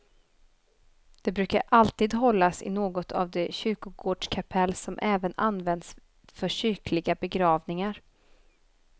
De brukar alltid hållas i något av de kyrkogårdskapell, som även används för kyrkliga begravningar.